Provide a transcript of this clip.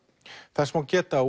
þess má geta